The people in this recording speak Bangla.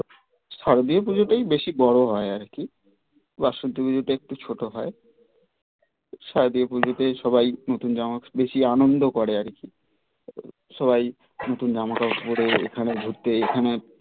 শারদীয়ার পুজোটাই বেশি বড়ো হয় আর কি বাসন্তী পুজোটা একটু ছোটো হয় শারদীয়ার পুজোটা নতুন জামা বেশি আনন্দ করে আর কি সবাই নতুন জামা কাপড় পড়ে এখানে ঘুরতে এখানে